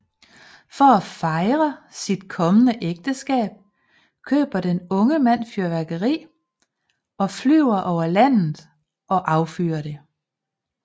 For at fejre sit kommende ægteskab køber den unge mand fyrværkeri og flyver over landet og affyrer det